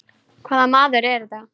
Hvaða maður er þetta?